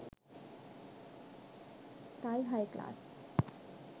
thai high class